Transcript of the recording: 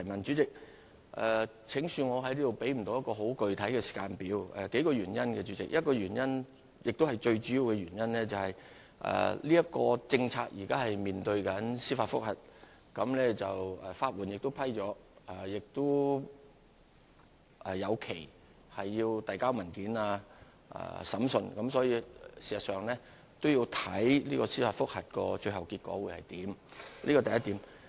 主席，請恕我在此無法提供具體時間表，當中有數個原因，最主要的原因是這項政策現正面對司法覆核挑戰，申請人已獲批法援，遞交文件及審訊的日期亦會有所編定，所以，事實上要視乎司法覆核的最後結果為何，此其一。